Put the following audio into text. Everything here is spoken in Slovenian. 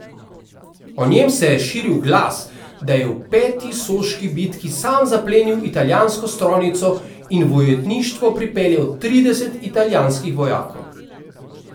O njem se je širil glas, da je v peti soški bitki sam zaplenil italijansko strojnico in v ujetništvo pripeljal trideset italijanskih vojakov.